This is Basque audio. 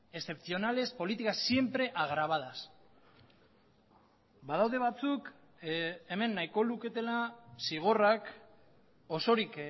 excepcionales políticas siempre agravadas badaude batzuk hemen nahiko luketela zigorrak osorik